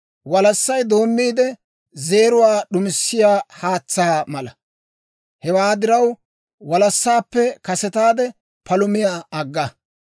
Walassay doommiidde, zeeruwaa d'uussiyaa haatsaa mala; hewaa diraw, walassaappe kasetaade palumiyaa agga.